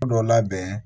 Dɔ labɛn